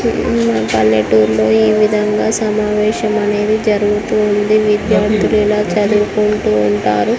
పల్లెటూరు లో ఈ విధంగా సమావేశం అనేది జరుగుతూ ఉంది. విద్యార్థులు ఇలా చదువుకుంటూ ఉంటారు.